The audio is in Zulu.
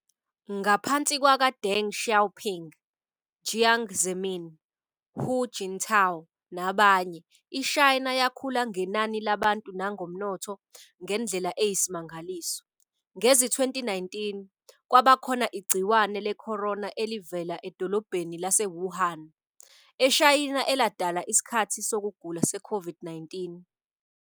Ngaphansi kwaka Deng Xiaoping, Jiang Zemin, Hu Jintao nabanye, iShayina yakhula ngenani labantu nangomnotho ngendlela eyisimangaliso. Ngezi-2019, kwabakhona igciwane leCorona elivele edolobheni laseWuhan, eShayina eladala isikhathi sokugula seCOVID-19.